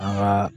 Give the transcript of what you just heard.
An ka